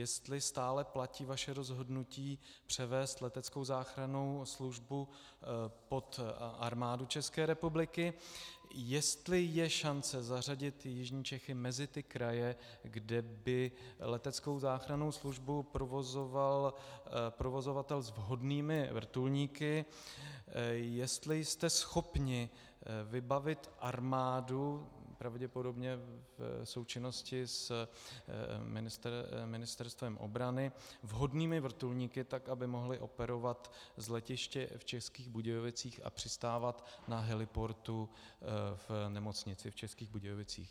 Jestli stále platí vaše rozhodnutí převést leteckou záchrannou službu pod Armádu České republiky, jestli je šance zařadit jižní Čechy mezi ty kraje, kde by leteckou záchrannou službu provozoval provozovatel s vhodnými vrtulníky, jestli jste schopni vybavit armádu, pravděpodobně v součinnosti s Ministerstvem obrany, vhodnými vrtulníky tak, aby mohly operovat z letiště v Českých Budějovicích a přistávat na heliportu v nemocnici v Českých Budějovicích.